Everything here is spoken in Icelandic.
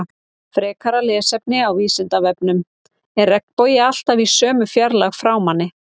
Frekara lesefni á Vísindavefnum: Er regnbogi alltaf í sömu fjarlægð frá manni?